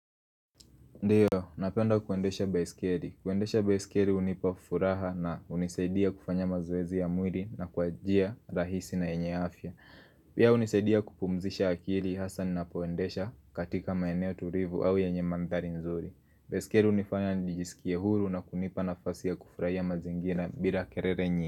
Ndiyo, napenda kuendesha baiskeli. Kuendesha baiskeli hunipa furaha na hunisaidia kufanya mazoezi ya mwili na kwa njia rahisi na yenye afya. Pia hunisaidia kupumzisha akili hasa ninapoendesha katika maeneo tulivu au yenye mandhari nzuri. Baiskeli hunifanya nijisikie huru na kunipa nafasi ya kufurahia mazingira bila kelele nyingi.